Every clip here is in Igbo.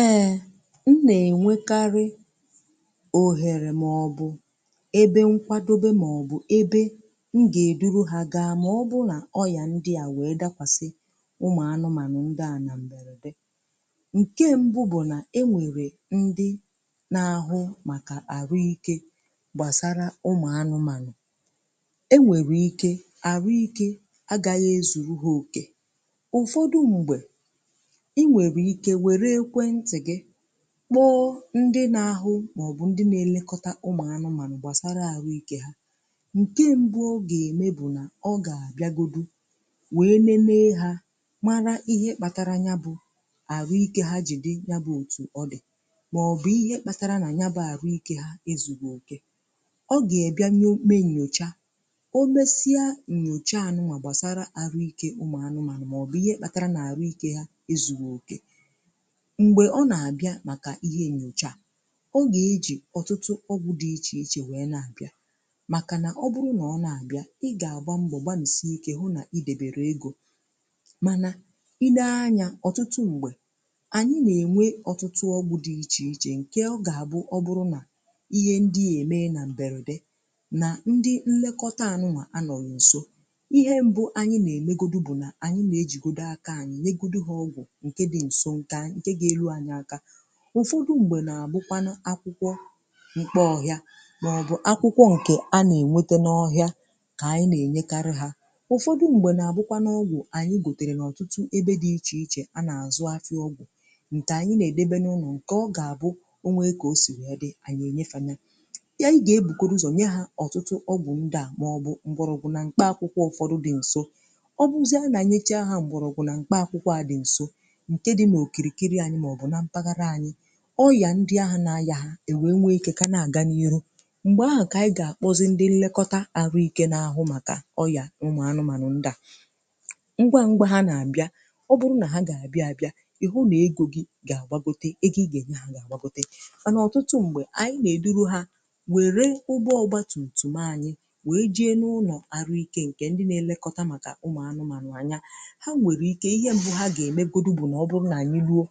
Ehh m, nà-ènwekarị, òhèrè mọ̀bụ̀ ebe nkwadobe mọ̀bụ̀ ebe m gà-èduru ha gaa màọbụuụ nà ọyà ndị à wèe dakwàsị ụmụ̀ anụmànụ̀ ndị à na m̀bèrèdè. Nkè mbụ̀ bụ̀ nà e nwèrè ndị na-ahụ màkà àrụ ike gbàsara ụmụ̀ anụmànụ̀, e nwèrè ike àrụ ike agaghị ezuru ha òkè, ụ̀fọdụ m̀gbè ị nwere ike wéré ekwentị gị kpọọ ndị nà ahụ màọ̀bụ̀ ndị nà elekọta ụmụ̀anụmànụ̀ gbasara àhụikė ha. Nke mbụ ọ gà-ème bụ̀ nà ọ gà-àbịagodu, wee nenee ha mara ihe kpàtàrà nya bụ̇ àhụikė ha jì dị ya bụ òtù ọ dị̀, màọ̀bụ̀ ihe kpàtàrà nà nye bụ àhụikė ha ezùgwè òkè, ọ gà-èbịa nye mee nnyòcha, o mesia nnyòchaanụ̀ wà gbàsara àhụikė ụmụ̀anụmànụ̀ màọ̀bụ̀ ihe kpàtàrà nà àrụikė ha ezùgwè òkè, m̀gbè ọ nà-àbịa màkà ihe nyocha, ọ gà-ejì ọtụtụ ọgwụ̇ dị ichè ichè wee na-àbịa, màkà nà ọ bụrụ nà ọ nà-àbịa ị gà-àbà mbọ gbanwusie ike hụ nà idebèrè egȯ. Manà i nee anya, ọ̀tụtụ m̀gbè, ànyị nà-ènwe ọtụtụ ọgwụ̇ dị ichè ichè nke ọ gà-àbụ ọ bụrụ nà ihe ndị à ème na m̀bèrèdè na ndị nlekọta anụ̇nwà anọ̀ n’ǹso ihe mbụ anyị̀ nà-èmegodu bụ̀ nà ànyị mà ejìgodi aka anyị̀ nyegodu ha ọgwụ̀ nke dị nso, nke geru anyị àkà, ụfọdụ̀ m̀gbè nà-àbụkwanụ̀ akwụkwọ̀ mkpà ọhịa màọbụ̀ akwụkwọ̀ ǹkè a nà-ènwete n’ọhịa, kà ànyị nà-ènyekarị hȧ. ụfọdụ̀ m̀gbè nà-àbụkwanụ̀ ọgwụ̀ ànyị gòtèrè n’ọ̀tụtụ ebe dị̀ ichè ichè a nà-àzụ afị ọgwụ̀ ǹkè ànyị nà-èdèbè n’ụlọ̀ ǹkè ọ gà-àbụ o nwee kà o sì ya dị̀ ànyị ènyefànị̀. Ya i gà-ebukodu ụzọ̀ nye hȧ ọtụtụ ọgwụ̀ ndị à màọbụ̀ mkpọrọ̀gwu na bụ̀ nà ǹkpe akwụkwọ̀ ụfọdụ̀ dị̀ ǹso, ọbụzịa nà-enyecha ha m̀gbọrọ̀ bụ̀ nà mkpọ àkwụkwọ̀ nke dị n'okirikiri anyị m'ọbụ na mpaghara anyị, ọyà ndị ahụ̀ nà-ayà ha èwe nwe ikė kà na-àga n’ihu, m̀gbè ahụ̀ kà ànyị gà-àkpọzị ndị nlekọta àrụ ikė na-ahụ màkà ọyà ụmụ anụmànụ̀ ndịà. Ngwa ngwa ha nà-àbịa ọbụrụ nà ha gà-àbịa bịa ị̀hụ nà egȯ gi gà-àgwagote egȯ ị gà-ènye ha gà-àgwagote, mànà ọ̀tụtụ m̀gbè ànyị nà-èduru ha wère ụbọgbọ ọgbȧ tùtù maanyị̀ wèe jee n’ụlọ̀ àrụ ike ǹkè ndị na-elekọta màkà ụmụ anụmànụ̀ anya Ha nwere ike ihe mbụ ha gemegodi ma ọ̀bụ̀rụ̀ na anyị luo,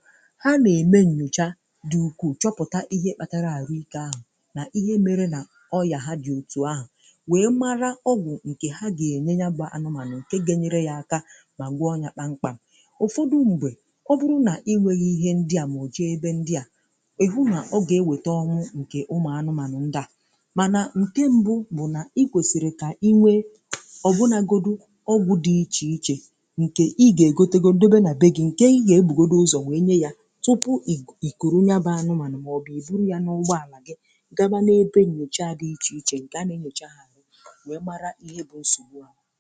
ha neme nnyocha dị̀ ukwù chọpụ̀ta ihe kpàtàrà àhụike ahụ̀ nà ihe mere nà ọ yà ha dị̀ òtù ahụ̀ nwèe mara ọgwụ̀ nkè ha gà-ènye ya bà anụmànụ̀ nke ga-enyere ya aka, mà gwọ nyà kpàm-kpàm. ụ̀fọdụ m̀gbè ọ bụrụ nà inwėghi ihe ndi à mọ̀jị ebe ndi à ị̀hụ nà ọ gà-ewèta ọnwụ̇ nkè ụmụ̀ anụmànụ̀ ndi à. Mànà nkè mbụ̀ bụ̀ nà i kwesìrì kà iwė ọ̀ bụnagodù ọgwụ̀ dị̀ ichè ichè nkè i gà-ègote go ndobe nà be gì nkè i gà-egbùgodu ụzọ̀ wee nye ya, tupu oku ikuru nyabà anụmanụ̀ maọ̀bụ̀ i buru ya n’ụgbọ alà gị gaba na-ebe nyocha dị iche ichè nke ana-enyocha ha nụ̀ wee mara ihe bụ̀ nsogbù ha.